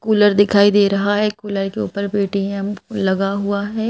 Cooler दिखाई दे रहा है कूलर के ऊपर पेटीम लगा हुआ है।